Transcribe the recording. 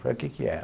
Falei, o quê que é?